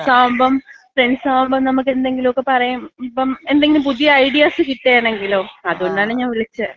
ഇപ്പം ഫ്രണ്ട് സാകുമ്പം ഫ്രണ്ട് സാകുമ്പം നമുക്ക് എന്തെങ്കിലുക്കെ പറയാം. ഇപ്പൊ എന്തെങ്കിലും പുതിയ ഐഡിയാസ് കിട്ടേണെങ്കിലോ? അതുകൊണ്ടാണ് ഞാൻ വിളിച്ചെ.